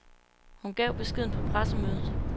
Hun gav beskeden på pressemødet.